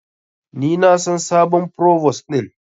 Ni na san sabon provos din.